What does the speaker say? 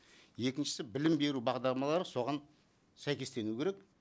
екіншісі білім беру бағдарламалары соған сәйкестену керек